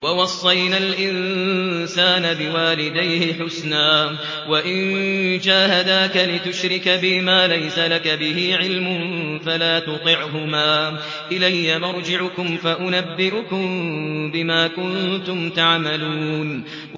وَوَصَّيْنَا الْإِنسَانَ بِوَالِدَيْهِ حُسْنًا ۖ وَإِن جَاهَدَاكَ لِتُشْرِكَ بِي مَا لَيْسَ لَكَ بِهِ عِلْمٌ فَلَا تُطِعْهُمَا ۚ إِلَيَّ مَرْجِعُكُمْ فَأُنَبِّئُكُم بِمَا كُنتُمْ تَعْمَلُونَ